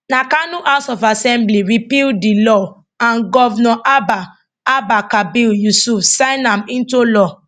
na kano house of assembly repeal di law and govnor abba abba kabir yusuf sign am into law